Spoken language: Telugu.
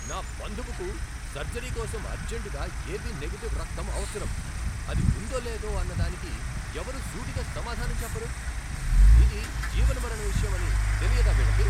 నా బంధువుకు సర్జరీ కోసం అర్జంటుగా ఏబీ నెగిటివ్ రక్తం అవసరం, అది ఉందో లేదో అన్నదానికి ఎవరు సూటిగా సమాధానం చెప్పరు! ఇది జీవనమరణ విషయం అని తెలియదా వీళ్ళకి!